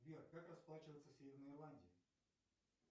сбер как расплачиваться в северной ирландии